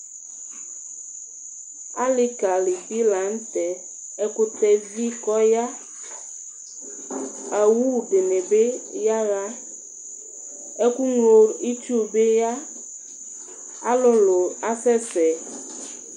alɩkali dɩ la nʊtɛ, ɛkʊtɛ evi kɔya, awu dɩnɩbɩ yaɣa, ɛkʊŋlo itsu bɩ ya, alʊlu asɛsɛ